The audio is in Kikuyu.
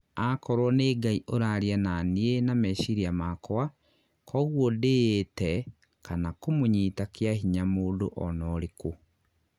akorwo nĩ ngai ũraria nanĩ nanĩ na mecĩria makwa ...kogũo ndiyĩte kana kũmũnyita kĩahinya mũndũ onorĩkũ